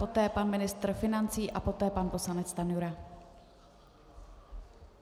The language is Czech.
Poté pan ministr financí a poté pan poslanec Stanjura.